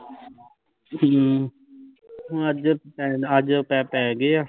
ਹਮ ਹੁਣ ਅੱਜ ਪੈਨ ਅੱਜ ਪੈਪ ਪੈ ਗਏ ਆ